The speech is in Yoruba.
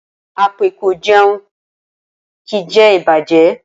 Apẹ ko jeun, ki je ibajẹ.